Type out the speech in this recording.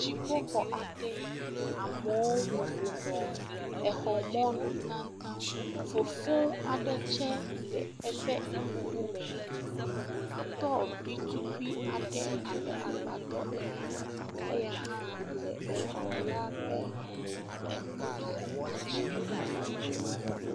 Dziƒoxɔ aɖe, amewo bɔbɔ nɔ exɔ mɔ nu taŋtaŋ, fofoŋ aɖe tsɛ le eƒe ŋkume, stɔɔvi tukui aɖe abe agbadɔ ene eya hã le exɔ la ƒe emia kpa dzi.